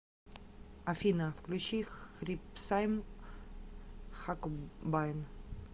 афина включи хрипсайм хакобайн